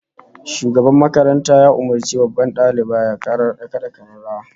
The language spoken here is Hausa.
Shugaban makaranta ya umurci babban daliba ya kada kararrawa